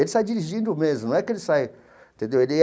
Ele sai dirigindo mesmo, não é que ele sai... Entendeu? Ele.